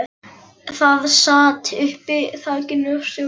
Það sat uppi á þakinu á stjórnarráðinu.